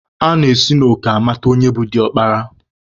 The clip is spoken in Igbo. A na-esi n'òkè amata onye bụ diọkpara